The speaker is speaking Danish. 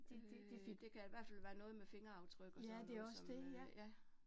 Øh det kan i hvert fald være noget med fingeraftryk og sådan noget, som øh ja